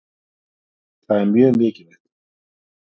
Það er mjög mikilvægt.